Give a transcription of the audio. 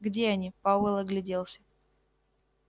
где они пауэлл огляделся